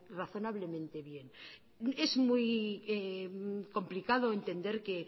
razonablemente bien es muy complicado entender que